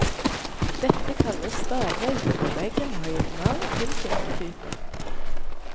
Dette kalles stavvegg, og veggen har gitt navn til kirketypen.